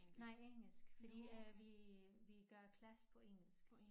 Nej engelsk fordi at vi vi gør klasse på engelsk